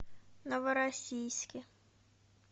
новороссийске